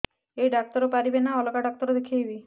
ଏଇ ଡ଼ାକ୍ତର ପାରିବେ ନା ଅଲଗା ଡ଼ାକ୍ତର ଦେଖେଇବି